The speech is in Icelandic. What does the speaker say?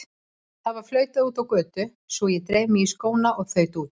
Það var flautað úti á götu svo ég dreif mig í skóna og þaut út.